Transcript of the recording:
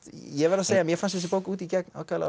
ég verð að segja að mér fannst þessi bók út í gegn ákaflega